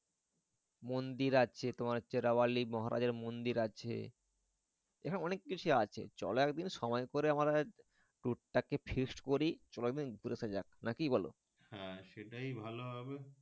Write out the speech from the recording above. মন্দির আছে তোমার হচ্ছে মহারাজের মন্দির আছে এখানে অনেক কিছু আছে চলো একদিন সময় করে আমরা টুক টাকি Feast করি চলো একদিন ঘুরে আশা যাক না কি বল হ্যাঁ সেটাই ভালো হবে।